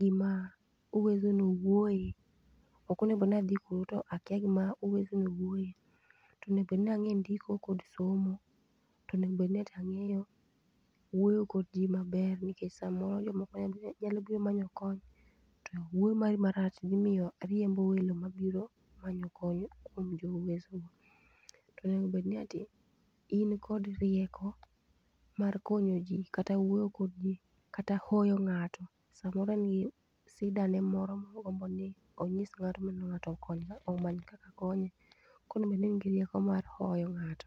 gima, Uwezo no wuoye. Ok onego bedni adhi kuro to akia gima Uwezo no wuoye. To onego bedni ang'e ndiko kod somo, tonego bedni ati ang'eyo, wuoyo kod jii maber nikech samoro jomoko nyalo nyalo biro manyo kony, to wuoyo mari marach dhi miyo ariembo welo mabiro, manyo kony kuom jo Uwezo go. To onego bedni ati, in kod rieko, mar konyo ji, kata wuoyo kod ji, kata hoyo ng'ato. Samoro en gi, sida ne moro mogombo ni, onyis ng'ato mondo ng'ato okony omany kaka konye. Koro owinjo bedni in gi rieko mar hoyo ng'ato